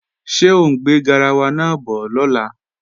Ṣé ọ ń gbé garawa náà bọ̀ lọ́la?